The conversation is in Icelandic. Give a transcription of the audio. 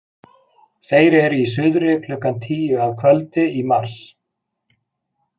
Þeir eru í suðri klukkan tíu að kvöldi í mars.